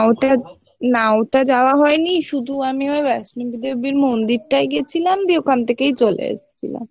ওটা না ওটা যাওয়া হয়নি শুধু আমি ওই বৈষ্ণবী দেবীর মন্দিরটাই গেছিলাম দিয়ে ওখান থেকেই চলে এসছিলাম